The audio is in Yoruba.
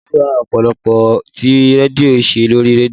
Bólú fẹ́ràn ìpolówó tí rédíò ṣe lórí rédíò